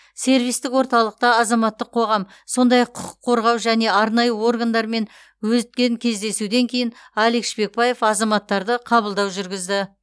сервистік орталықта азаматтық қоғам сондай ақ құқық қорғау және арнайы органдармен өткен кездесуден кейін алик шпекбаев азаматтарды қабылдау жүргізді